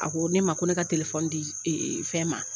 A ko ne ma ko ne ka di fɛn ma.